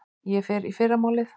Ég fer í fyrramálið.